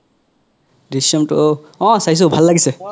Drishyam two অহ চাইছো ভাল লাগিছে